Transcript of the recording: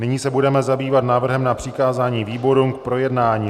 Nyní se budeme zabývat návrhem na přikázání výborům k projednání.